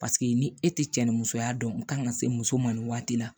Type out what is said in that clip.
Paseke ni e tɛ cɛ ni musoya dɔn n kan ka se muso ma nin waati la